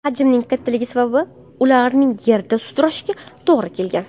Hajmining kattaligi sabab ularni yerda sudrashga to‘g‘ri kelgan.